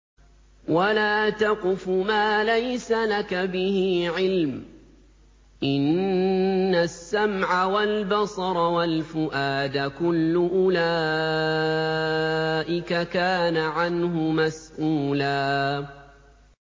وَلَا تَقْفُ مَا لَيْسَ لَكَ بِهِ عِلْمٌ ۚ إِنَّ السَّمْعَ وَالْبَصَرَ وَالْفُؤَادَ كُلُّ أُولَٰئِكَ كَانَ عَنْهُ مَسْئُولًا